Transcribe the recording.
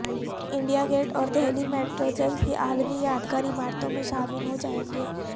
India gate اور Delhi metro جلد ہی عالمی یادگار عمارتوں میں شامل ہو جائیں گے